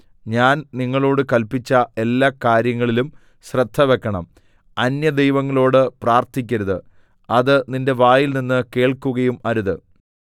ഞാൻ നിങ്ങളോട് കല്പിച്ച എല്ലാ കാര്യങ്ങളിലും ശ്രദ്ധ വെക്കണം അന്യദൈവങ്ങളോട് പ്രാർത്ഥിക്കരുത് അത് നിന്റെ വായിൽനിന്ന് കേൾക്കുകയും അരുത്